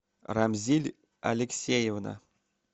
рамзиль алексеевна